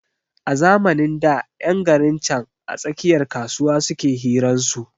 A zamanin da ƴan garin can a tsakiyar kasuwa suke hiran su